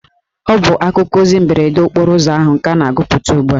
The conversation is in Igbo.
Ọ bụ akụkọ ozi mberede okporo ụzọ ahụ ka a na-agụpụta ugbua